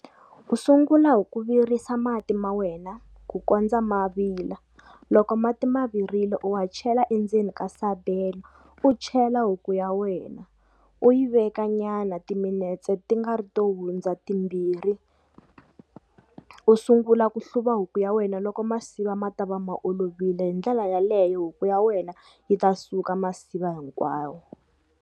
U sungula hi ku virisa mati ma wena ku kondza ma vila, loko mati ma virile u ma chela endzeni ka sabelo, u chela huku ya wena u yi veka nyana timinetse ti nga ri to hundza timbirhi, u sungula ku hluva huku ya wena loko masiva ma ta va ma olovile hi ndlela yaleyo huku ya wena yi ta suka masiva hinkwawo.